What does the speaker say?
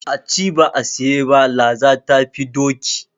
A ci ba a siye ba, laza ta fi doki.